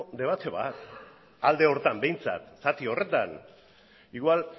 debate bat alde horretan behintzat zati horretan igual